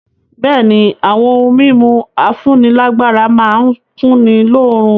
Bẹ̀ẹ́ni, àwọn ohun mímu afúnílágbára má n kunni lóorun.